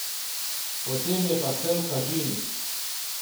Potem je pa cel kažin.